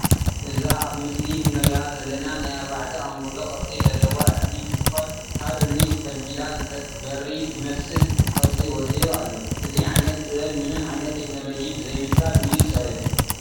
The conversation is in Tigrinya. እዚ ኣብ ምስሊ እንሪኣ ዘለና ናይ ኣርባዕተ ኣንጎሎ ቅርፂ ዘለዋ እምኒ እትኮን ካብ እምኒ ተፈልፊ በሪ ዝመስል ቅርፂ ወፂኡ ኣሎ ።እዚ ዓይነት ጥበብ ምንም ዓይነት ተክኖሎጂ ብዘይምጥቃም እዩ ተሰሪሑ።